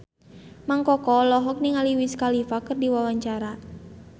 Mang Koko olohok ningali Wiz Khalifa keur diwawancara